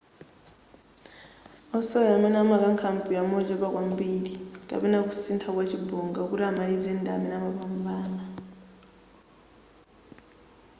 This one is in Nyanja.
wosewera amene wakankha mpira mochepa kwambiri kapena kusuntha kwa chibonga kuti amalize ndi amene amapambana